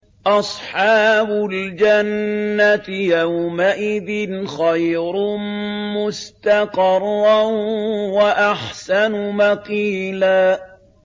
أَصْحَابُ الْجَنَّةِ يَوْمَئِذٍ خَيْرٌ مُّسْتَقَرًّا وَأَحْسَنُ مَقِيلًا